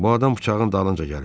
Bu adam bıçağın dalınca gəlib.